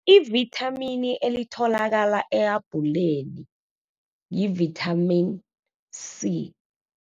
Ivithamini elitholakala ehabhuleni, yi-vitamin C.